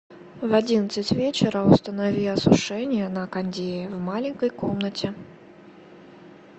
в одиннадцать вечера установи осушение на кондее в маленькой комнате